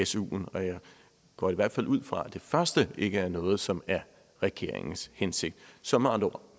suen og jeg går i hvert fald ud fra at det første ikke er noget som er regeringens hensigt så med andre ord